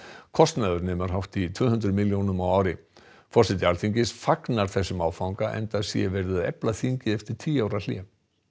kostnaður nemur hátt í tvö hundruð milljónum á ári forseti Alþingis fagnar þessum áfanga enda sé verið að efla þingið eftir tíu ára hlé